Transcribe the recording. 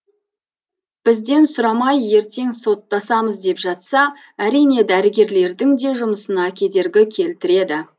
бізден сұрамай ертең соттасамыз деп жатса әрине дәрігерлердің де жұмысына кедергі келтіреді